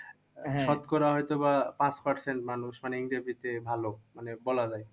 শতকরা হয়তো বা পাঁচ percent মানুষ মানে ইংরেজিতে ভালো মানে বলা যায়।